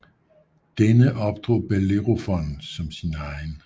Denne opdrog Bellerofon som sin egen